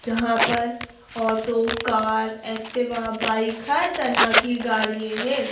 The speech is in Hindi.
जहां पर ऑटो कार एक्टिवा बाइक हर तरह की गाडियें हैं।